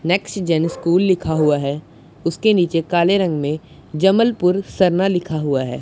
Next Jain school लिखा हुआ है उसके नीचे काले रंग में जबलपुर सरना लिखा हुआ है।